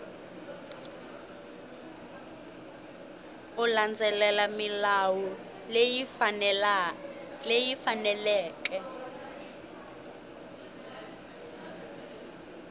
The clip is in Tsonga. u landzelela milawu leyi faneleke